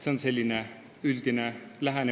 See on säärane üldine lähenemine.